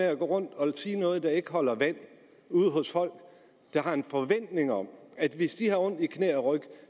at gå rundt og sige noget der ikke holder vand ude hos folk der har en forventning om at hvis de har ondt i knæ og ryg